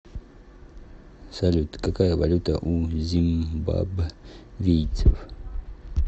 салют какая валюта у зимбабвийцев